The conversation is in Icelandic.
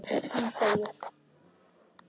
Hún þegir.